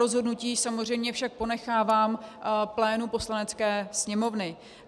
Rozhodnutí samozřejmě však ponechávám plénu Poslanecké sněmovny.